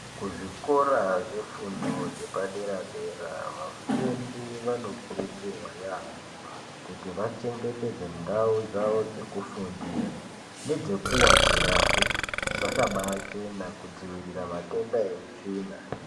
Kuzvikora zvefundo yepadera dera vafundi vanokurudzirwa yambo kuti vachengetedze ndau dzekufundira nedzekuwstira hee dzakaba chena kuitira matenda eutsvina.